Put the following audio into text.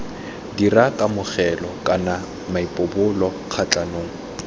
dira kamogelo kana maipobolo kgatlhanong